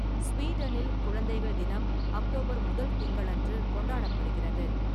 ஸ்வீடனில், குழந்தைகள் தினம் அக்டோபர் முதல் திங்களன்று கொண்டாடப்படுகிறது.